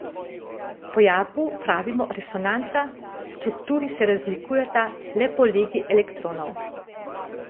Pojavu pravimo resonanca, strukturi se razlikujeta le po legi elektronov.